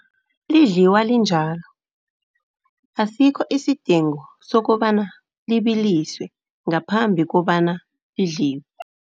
Lidliwa linjalo, asikho isidingo sokobana libiliswe ngaphambi kobana lidliwe.